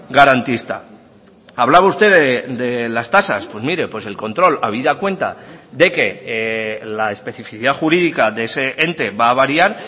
garantista hablaba usted de las tasas pues mire el control habida cuenta de que la especificidad jurídica de ese ente va a variar